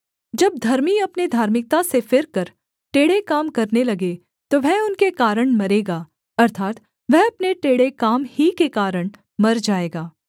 जब धर्मी अपने धार्मिकता से फिरकर टेढ़े काम करने लगे तो वह उनके कारण मरेगा अर्थात् वह अपने टेढ़े काम ही के कारण मर जाएगा